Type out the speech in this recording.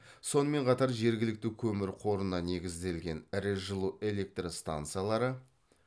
сонымен қатар жергілікті көмір қорына негізделген ірі жылу электростансалары